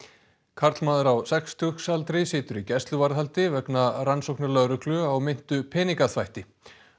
karlmaður á sextugsaldri situr í gæsluvarðhaldi vegna rannsóknar lögreglu á meintu peningaþvætti